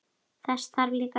Þess þarf líka.